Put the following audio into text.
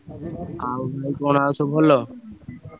ଆଉ ଭାଇ କଣ ଆଉ ସବୁ ଭଲ?